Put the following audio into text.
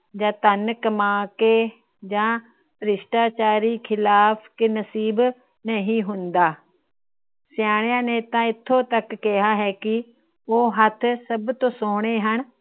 ਜਾ ਧੰਨ ਕਮਾ ਕੇ, ਜਾ ਭ੍ਰਿਸ਼ਟਾਚਾਰੀ ਖਿਲਾਫ ਨਸੀਬ ਨਹੀਂ ਹੁੰਦਾ। ਸਿਆਣਿਆ ਨੇ ਤਾ ਏਥੋਂ ਤੱਕ ਕਿਹਾ ਹੈ ਕਿ ਉਹ ਹੱਥ ਸਭ ਤੋ ਸੋਹਣੇ ਹਨ।